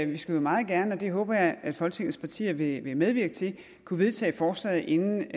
vi skulle meget gerne og det håber jeg at folketingets partier vil medvirke til kunne vedtage forslaget inden